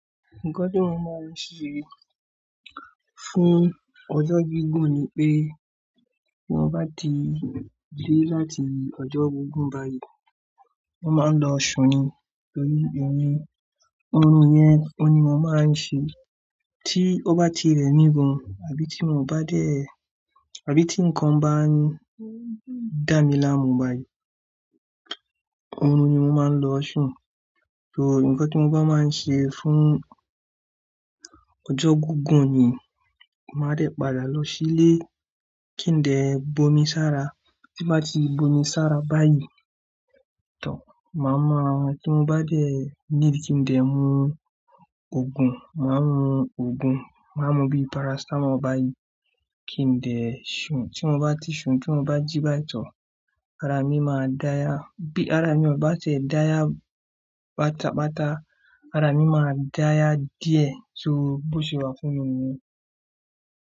Nǹkan tí mo máa ń ṣe fún ọjọ́ gígùn ni pé bí wọ́n bá ti dé láti ọjọ́ gígùn báyìí, wọ́n máa ń lo sùn ni. Torí ẹni, òórùn yẹn ò ní máa máa ń ṣe tí ó bá ti rẹ mí gan àbí tí mi ò bá dẹ̀ àbí tí ǹkan bá ń dà mí láàmú báyìí, òórùn ni mo máa ń lo sùn. So nǹkan tí mo bá máa ń ṣe fún ọjọ́ gígùn ni màá dẹ̀ padà lọ sílé kí n dẹ̀ bómi sára. Tí n bá ti bo mi sára báyìí tọ̀, màá mọ ọ́, tí mo bá dẹ̀ níbi tí n dẹ̀ mú òògùn. Màá mú òògùn, màá mú bíi paracetamol báyìí kí n dẹ̀ sùn. Tí mo bá ti sùn, tí mo bá jí báyìí tọ̀, ara mi máa dáya. Bí ara mi ò bá ti ẹ́ dáya páta páta, ara mi máa dáya díẹ̀ so bó ṣe wà fún mi niyẹn.